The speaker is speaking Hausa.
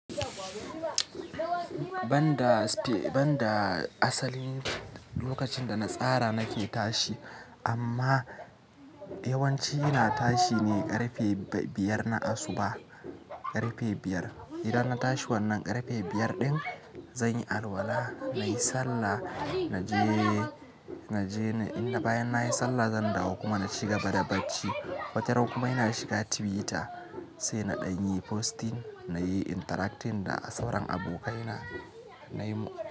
Banda asalin, lokacin da na tsara nake tashi amma yawanci ina tashi ne ƙarfe biyar na asuba. Idan na tashi wannan ƙarfe biyar din zan yi alwala, na yi sallah, na je, na jeni inda bayan nayi sallah zan dawo kuma na ci gaba da bacci. Wata ran kuma ina shiga Twitter sai na ɗan yi posting nayi interacting da sauran abokaina.